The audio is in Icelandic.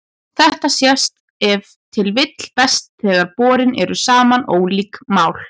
Þetta sést ef til vill best þegar borin eru saman ólík mál.